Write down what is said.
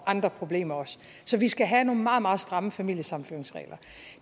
andre problemer så vi skal have nogle meget meget stramme familiesammenføringsregler